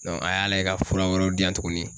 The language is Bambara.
a y'a layɛ ka fura wɛrɛw di yan tuguni